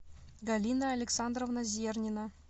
галина александровна зернина